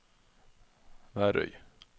Værøy